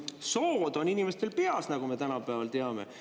Sood on inimestel peas, nagu me tänapäeval teame.